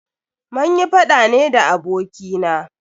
Munyi faɗa ne da abokina.